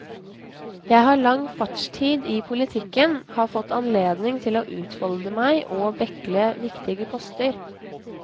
Jeg har lang fartstid i politikken, har fått anledning til å utfolde meg og bekle viktige poster.